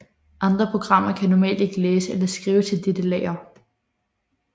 Andre programmer kan normalt ikke læse eller skrive til dette lager